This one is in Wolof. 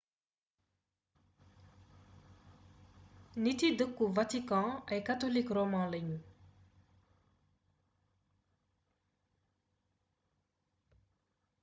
niti dëkku vatikan ay katolik roman lañu